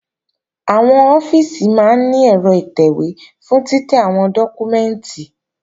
Àwọn ọ́fíìsì máa ní ẹ̀rọ ìtẹ̀wé fún títẹ́ àwọn dọ́kúmẹ́ǹtì